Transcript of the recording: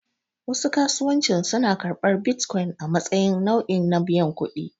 Wasu kasuwancin suna karɓar bitcoin a matsayin nau'i na biyan kuɗi.